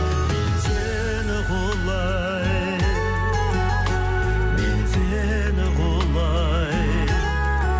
мен сені құлай мен сені құлай